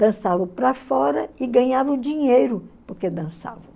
Dançavam para fora e ganhavam dinheiro porque dançavam.